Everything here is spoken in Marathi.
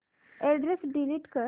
अॅड्रेस डिलीट कर